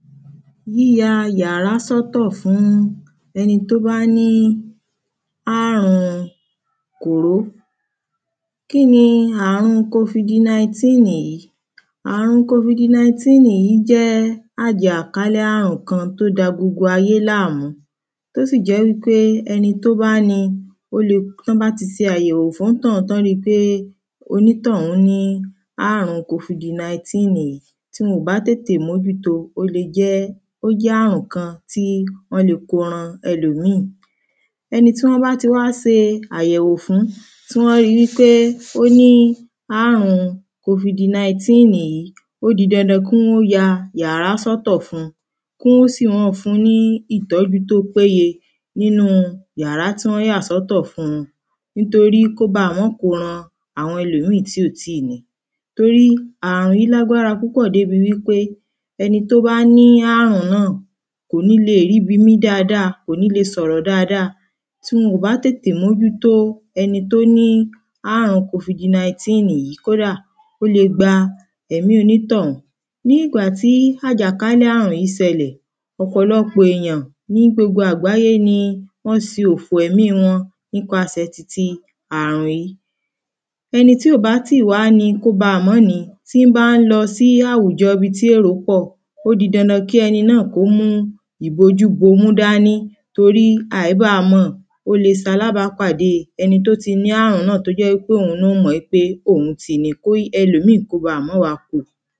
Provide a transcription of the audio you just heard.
yíya yàrá sọ́tọ̀ fún ẹni tó bá ní àrùn Kòró kíni àrùn Kofidi Nọítìnní yìí? àrùn Kofidi Naítìnní yìí jẹ́ ájìákàlẹ̀ àrùn kan tó da gbogbo ayé láàmú tó sì jẹ́ wípé ẹni tó bá ni o le tán bá ti se àyèwò fún ońtọ̀ún tán ri pé onítọ̀ún ní àrùn Kofidi Naítìnní yìí tí wọn ò bá tètè mójúto, ó le jẹ́, ó jẹ́ àrùn kan tí wọn le ko ran ẹlòmíìn ẹni tí wọ́n bá ti wá se àyewò fún, tí wọ́n rí wípe ó ní àrùn Kofidi Nọítìnní yìí ó di dandan kí wọ́n ó ya yàrá sọ́tọ̀ fún un, kí wọ́n sì mọ́ ọn fun un ní ìtọ́jú tó péye nínú yàrá tí wọ́n yà sọ́tọ̀ fun un nítorí kó baà mọ́ ko rán àwọn ẹlòmíìn tí ò tíì ni torí àrùn yìí lágbára púpọ̀ débi wípe ẹni tó bá ní àrùn náà, kò ní leè rí bi mín dáadáa, kò ní le sọ̀rọ̀ dáadáa tí wọ́n ò bá tètè mójútó ẹni tó ní àrùn Kofidi Nọítìnní yìí, kódà ó le gba ẹ̀mí onítọ̀ún ní ìgbà tí àjákálẹ̀ àrùn yìí sẹlẹ̀ ọ̀pọ̀lọpọ̀ èèyàn ní gbogbo agbaye ni wọ́n se òfò ẹ̀mí wọn nípasẹ̀ titi àrùn yìí ẹni tí ò báà tíì wá ni, kó baà mọ́ ni tí bá ń lọ sí àwùjọ ibi tí èrò pọ̀ ó di dandan kí ẹni náà kó mú ibojú-bomú dání torí àíbàámọ̀ ó le salàábápàdé ẹni tó ti ní ààrùn náà tó jẹ́ í pé òun náà ò mọ̀ í pé òun ti ní i kóí ẹlòmìín kó baà máa wá kó o